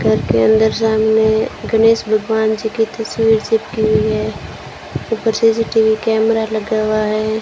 घर के अंदर सामने गणेश भगवान जी की तस्वीर चिपकी हुई है ऊपर सी_सी_टी_वी कैमरा लगा हुआ है।